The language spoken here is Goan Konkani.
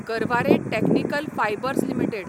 Garware technical fibres limited